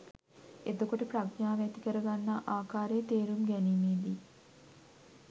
එතකොට ප්‍රඥාව ඇති කරගන්නා ආකාරය තේරුම් ගැනීමේදී